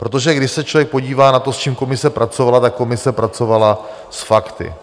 Protože když se člověk podívá na to, s čím komise pracovala, tak komise pracovala s fakty.